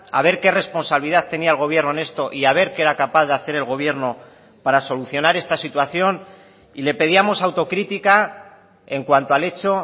a ver qué responsabilidad tenía el gobierno en esto y a ver qué era capaz de hacer el gobierno para solucionar esta situación y le pedíamos autocrítica en cuanto al hecho